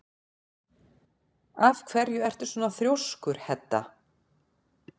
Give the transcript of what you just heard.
Af hverju ertu svona þrjóskur, Hedda?